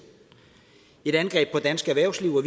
et angreb på dansk erhvervsliv og